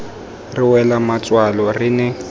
re wela matswalo re ne